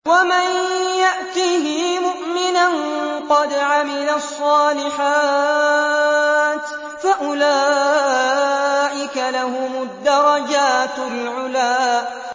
وَمَن يَأْتِهِ مُؤْمِنًا قَدْ عَمِلَ الصَّالِحَاتِ فَأُولَٰئِكَ لَهُمُ الدَّرَجَاتُ الْعُلَىٰ